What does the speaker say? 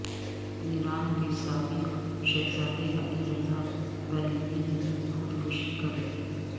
ایران کے سابق شہزادےعلی رضا پہلوی نے خود کشی کر لی